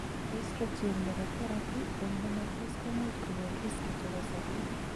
oestrogen nebo therapy eng menopause komuch kokon risks chebo sabet